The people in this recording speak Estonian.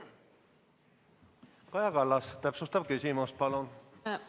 Kaja Kallas, täpsustav küsimus palun!